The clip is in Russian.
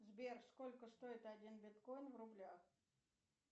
сбер сколько стоит один биткоин в рублях